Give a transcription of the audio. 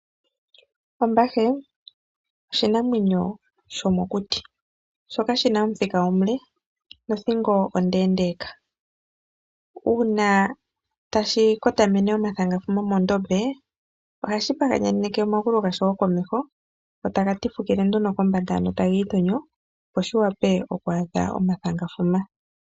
Ombahe oshinamwenyo shomokuti shoka shina Omuthika omule nothingo ondeendeka ,uuna tashi kotamene omathangafuma mondombe ohashi paganyeke omagulu gasho go komeho go taga tifukile ano komeho taga itonyo sho shi wape oku adha omathangauma.